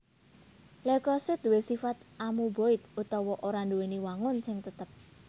Leukosit duwé sifat amuboid utawa ora nduwèni wangun sing tetep